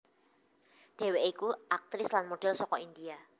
Dheweke iku aktris lan model saka India